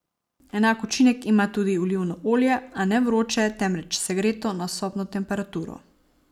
Enak učinek ima tudi olivno olje, a ne vroče, temveč segreto na sobno temperaturo.